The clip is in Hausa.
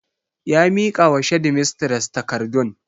Ya mika wa shedimistres takardun.